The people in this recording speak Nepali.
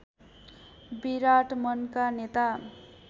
विराट मनका नेता